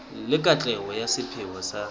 le katleho ya sepheo sa